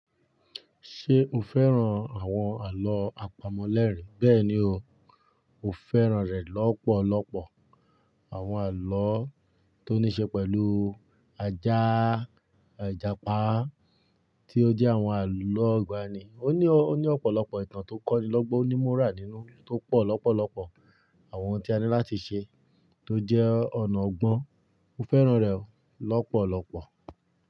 Ṣé o fẹ́ràn àwọn àlọ́ àpamọ̀ lẹ́rìń? Bẹ́ẹ̀ni o, mo fẹ́ràn rẹ̀ lọ́pọ̀lọpọ̀. Àwọn àlọ́ tó ní ṣe pẹ̀lú ajá, ijapá tí ó jẹ́ àwọn àlọ́ igbani. Ó ní, ó ní ọ̀pọ̀lọpọ̀ ìtàn tó kọ́ni lọ́gbọ́n, ní moral nínú tó pọ̀ lọ́pọ̀lọpọ̀. Àwọn ohun tí a ní láti ṣe tó jẹ́ ọ̀nà ọgbọ́n. Mo fẹ́ràn rẹ̀ o lọ́pọ̀lọpọ̀.